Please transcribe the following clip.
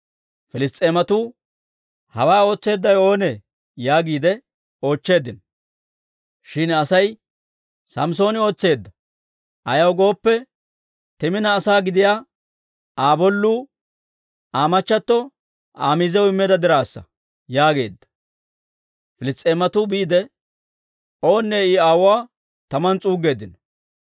Piliss's'eematuu, «Hawaa ootseeddawe oonee?» yaagiide oochcheeddino. Shin asay, «Samssooni ootseedda; ayaw gooppe, Timina asaa gidiyaa Aa bolluu, Aa machchatto Aa miiziyaw immeedda dirassa» yaageedda. Piliss's'eematuu biide, owunne I aawuwaa taman s'uuggeeddino.